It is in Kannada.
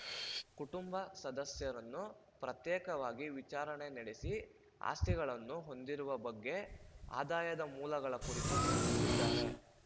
ಕುಟುಂಬ ಸದಸ್ಯರನ್ನು ಪ್ರತ್ಯೇಕವಾಗಿ ವಿಚಾರಣೆ ನಡೆಸಿ ಆಸ್ತಿಗಳನ್ನು ಹೊಂದಿರುವ ಬಗ್ಗೆ ಆದಾಯದ ಮೂಲಗಳ ಕುರಿತು ಪ್ರಶ್ನಿಸಿದ್ದಾರೆ